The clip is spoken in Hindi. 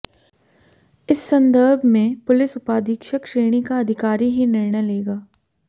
इस संदर्भमें पुलिस उपाधीक्षक श्रेणीका अधिकारी ही निर्णय लेगा